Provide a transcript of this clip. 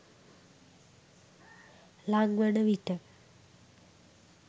ළං වන විට